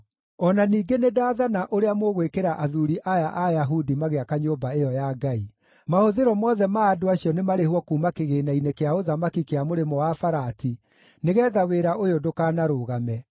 O na ningĩ nĩndathana ũrĩa mũgwĩkĩra athuuri aya a Ayahudi magĩaka nyũmba ĩyo ya Ngai: Mahũthĩro mothe ma andũ acio nĩ marĩhwo kuuma kĩgĩĩna-inĩ kĩa ũthamaki kĩa Mũrĩmo-wa-Farati, nĩgeetha wĩra ũyũ ndũkanarũgame.